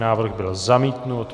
Návrh byl zamítnut.